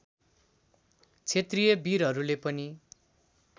क्षेत्रिय वीरहरूले पनि